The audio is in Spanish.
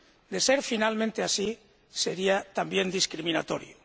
De ser finalmente así, sería también discriminatorio.